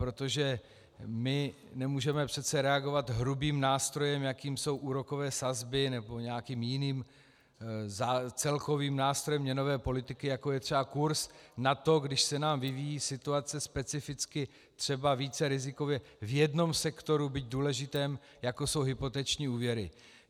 Protože my nemůžeme přece reagovat hrubým nástrojem, jakým jsou úrokové sazby, nebo nějakým jiným celkovým nástrojem měnové politiky, jako je třeba kurz, na to, když se nám vyvíjí situace specificky třeba více rizikově v jednom sektoru, byť důležitém, jako jsou hypoteční úvěry.